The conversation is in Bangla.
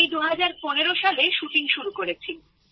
আমি ২০১৫ সালে শুটিং শুরু করেছি